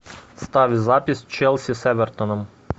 ставь запись челси с эвертоном